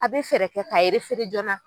A bɛ fɛɛrɛ kɛ k'a joona.